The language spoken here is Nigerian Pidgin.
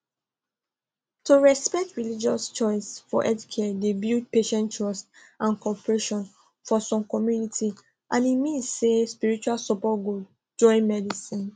to respect religious choice for healthcare dey build patient trust and cooperation for some communities and e mean say spiritual support go join medicine